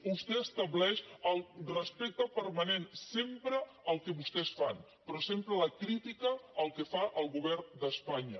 vostè estableix el respecte permanent sempre al que vostès fan però sempre la crítica al que fa el govern d’espanya